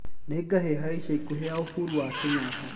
nĩ ngahĩha ya ĩca ĩkũhĩ ya uhuru wa kenyatta